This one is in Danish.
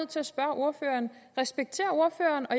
til at spørge ordføreren respekterer ordføreren og